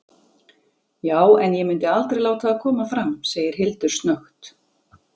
Já- en ég myndi aldrei láta það koma fram, segir Hildur snöggt.